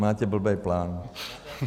Máte blbej plán.